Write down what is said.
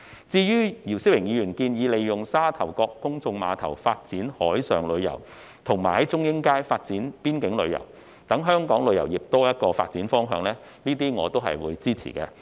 至於姚思榮議員建議利用沙頭角公眾碼頭發展海上旅遊，以及在中英街發展邊境旅遊，讓香港旅遊業有多一個發展方向，我對此表示支持。